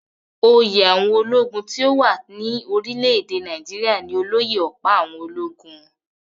Oyè àwọn ológun tí ó wà rí ní orílẹ̀-èdè Nàìjíríà ní olóyè-ọ̀pá-àwọn-ológun